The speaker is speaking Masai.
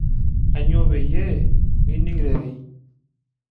Aanyo payie mining rerei